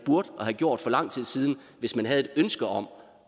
have gjort for lang tid siden hvis man havde et ønske om